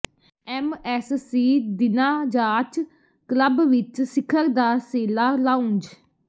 MSc ਦਿਨਾ yacht club ਵਿਚ ਸਿਖਰ ਦਾ ਸੇਲਾ ਲਾਉਂਜ